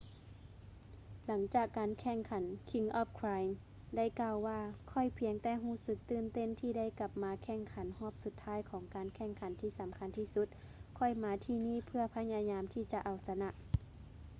ຫຼັງຈາກການແຂ່ງຂັນ king of clay ໄດ້ກ່າວວ່າ ຂ້ອຍພຽງແຕ່ຮູ້ສຶກຕື່ນເຕັ້ນທີ່ໄດ້ກັບມາແຂ່ງຂັນຮອບສຸດທ້າຍຂອງການແຂ່ງຂັນທີ່ສຳຄັນທີ່ສຸດ ຂ້ອຍມາທີ່ນີ້ເພື່ອພະຍາຍາມທີ່ຈະເອົາຊະນະ